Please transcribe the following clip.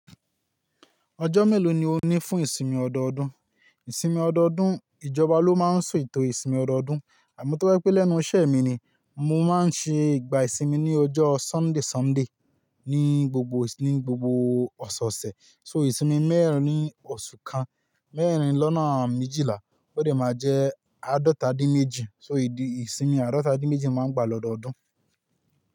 Ọjọ́ mélòó ni o ní fún ìsinmi ọdọọdún? Ìsinmi ọdọọdún ìjọba ló máa ń so ètò ìsinmi ọdọọdún. Àmọ́ tó pé pé lẹ́nu iṣẹ́ mi ni mo máa ń ṣe ìgbà ìsinmi ní ọjọ́ isinmi, ní gbogbo, ní gbogbo ọ̀sẹ̀ ọ̀sẹ̀. So ìsinmi mẹ́rin ní osù kan, mẹ́rin lọ́nà méjìlá ó lè máa jẹ́ àádọ́ta dín méjì. So èdè ìsinmi àádọ́ta dín méjì máa ń gbà lọ́dọọdún.